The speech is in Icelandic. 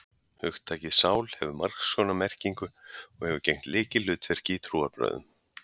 Hugtakið sál hefur margs konar merkingu, og hefur gegnt lykilhlutverki í trúarbrögðum.